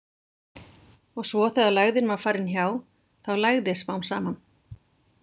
Og svo þegar lægðin var farin hjá, þá lægði smám saman.